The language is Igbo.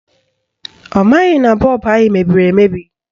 Ọ maghị na bọọbụ anyị mebiri emebi